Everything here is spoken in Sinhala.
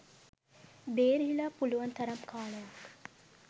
බේරිලා පුළුවන් තරම් කාලයක්